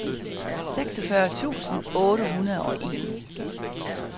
seksogfyrre tusind otte hundrede og en